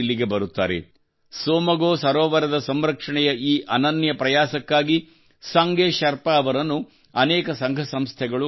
ಟ್ಸೊಮ್ಗೊ ಸೋಮಗೊ ಸರೋವರದ ಸಂರಕ್ಷಣೆಯ ಈ ಅನನ್ಯ ಪ್ರಯಾಸಕ್ಕಾಗಿ ಸಂಗೆ ಶೆರ್ಪಾ ಅವರನ್ನು ಅನೇಕ ಸಂಘ ಸಂಸ್ಥೆಗಳು ಗೌರವಿಸಿವೆ